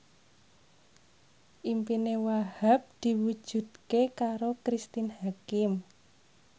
impine Wahhab diwujudke karo Cristine Hakim